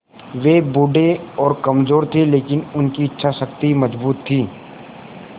वे बूढ़े और कमज़ोर थे लेकिन उनकी इच्छा शक्ति मज़बूत थी